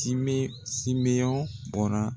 Time simeɲɔn bɔnna